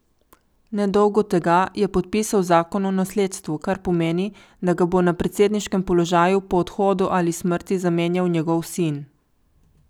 Nedolgo tega je podpisal zakon o nasledstvu, kar pomeni, da ga bo na predsedniškem položaju po odhodu ali smrti zamenjal njegov sin.